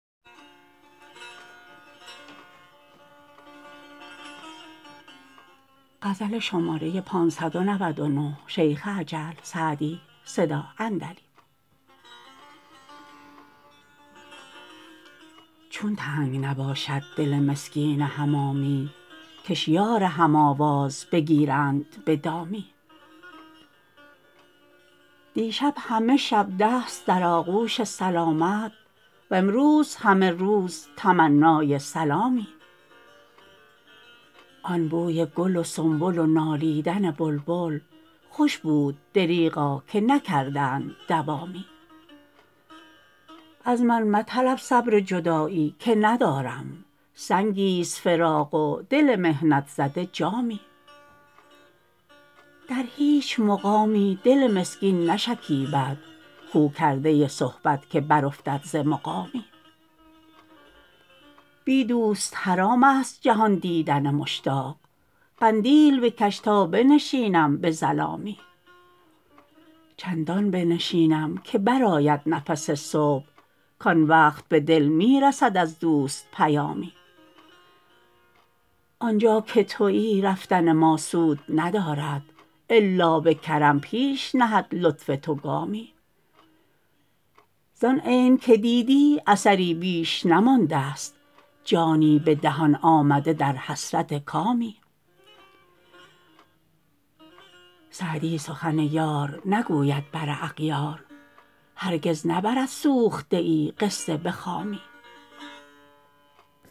چون تنگ نباشد دل مسکین حمامی کش یار هم آواز بگیرند به دامی دیشب همه شب دست در آغوش سلامت وامروز همه روز تمنای سلامی آن بوی گل و سنبل و نالیدن بلبل خوش بود دریغا که نکردند دوامی از من مطلب صبر جدایی که ندارم سنگی ست فراق و دل محنت زده جامی در هیچ مقامی دل مسکین نشکیبد خو کرده صحبت که برافتد ز مقامی بی دوست حرام است جهان دیدن مشتاق قندیل بکش تا بنشینم به ظلامی چندان بنشینم که برآید نفس صبح کآن وقت به دل می رسد از دوست پیامی آن جا که تویی رفتن ما سود ندارد الا به کرم پیش نهد لطف تو گامی زآن عین که دیدی اثری بیش نمانده ست جانی به دهان آمده در حسرت کامی سعدی سخن یار نگوید بر اغیار هرگز نبرد سوخته ای قصه به خامی